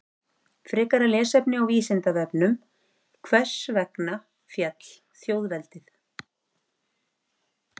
Frekara lesefni á Vísindavefnum: Hvers vegna féll þjóðveldið?